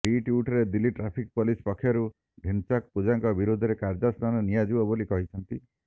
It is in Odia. ରିଟ୍ୱିଟ୍ରେ ଦିଲ୍ଲୀ ଟ୍ରାଫିକ୍ ପୋଲିସ୍ ପକ୍ଷରୁ ଢ଼ିନ୍ଚାକ୍ ପୂଜାଙ୍କ ବିରୋଧରେ କାର୍ଯ୍ୟାନୁଷ୍ଠାନ ନିଆଯିବ ବୋଲି କୁହାଯାଇଛି